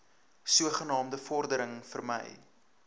sogenaamde voordoening vermy